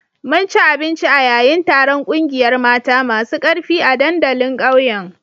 Mun ci abinci a yayin taron kungiyar mata masu karfi a dandalin ƙauyen